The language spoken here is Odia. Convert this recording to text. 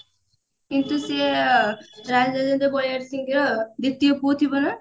କିନ୍ତୁ ସେ ବଳିଆର ସିଂହର ଦ୍ଵିତୀୟ ପୁଅ ଥିବ ନା